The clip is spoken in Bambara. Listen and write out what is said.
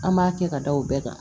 An b'a kɛ ka da o bɛɛ kan